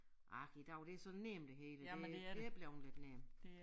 Ah i dag det så nemt det hele det det er blevet lidt nemt